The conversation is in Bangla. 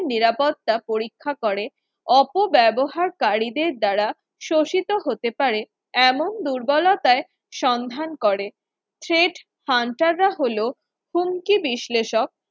নিরাপত্তা পরীক্ষা করে অপব্যবহারকারীদের দ্বারা শোষিত হতে পারে এমন দুর্বলতায় সন্ধান করে threat hunters হলো হুমকি বিশ্লেষক